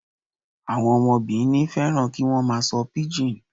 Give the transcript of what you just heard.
Àwọn ọmọ Benin fẹ́ràn kí wọ́n máa sọ píjìn.